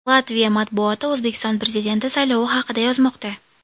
Latviya matbuoti O‘zbekiston Prezidenti saylovi haqida yozmoqda.